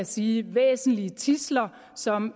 sige væsentlige tidsler som